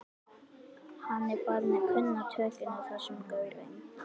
Hann er farinn að kunna tökin á þessum gaurum.